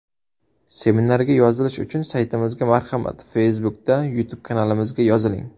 Seminarga yozilish uchun Saytimizga marhamat Facebook’da YouTube kanalimizga yoziling !